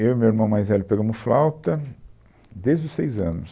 Eu e o meu irmão mais velho pegamos flauta desde os seis anos.